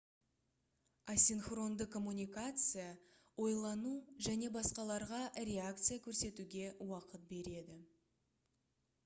асинхронды коммуникация ойлану және басқаларға реакция көрсетуге уақыт береді